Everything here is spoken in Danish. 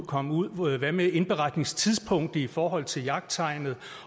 komme ud hvad med indberetningstidspunktet i forhold til jagttegnet